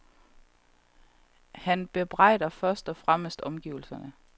Han bebrejder først og fremmest omgivelserne.